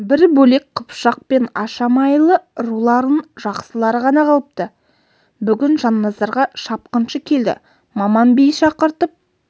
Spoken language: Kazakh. бір бөлек қыпшақ пен ашамайлы руларының жақсылары ғана қалыпты бүгін жанназарға шапқыншы келді маман би шақыртып